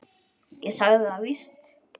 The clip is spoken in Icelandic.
Ég sagði það víst.